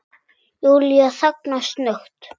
Júlía þagnar snöggt.